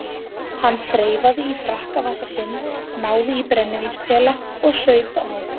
Hann þreifaði í frakkavasa sinn, náði í brennivínspela og saup á.